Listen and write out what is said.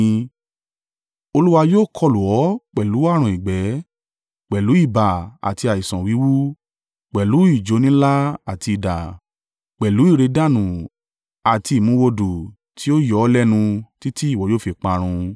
Olúwa yóò kọlù ọ́ pẹ̀lú ààrùn ìgbẹ́, pẹ̀lú ibà àti àìsàn wíwú, pẹ̀lú ìjóni ńlá àti idà, pẹ̀lú ìrẹ̀dànù àti ìmúwòdù tí yóò yọ ọ́ lẹ́nu títí ìwọ yóò fi parun.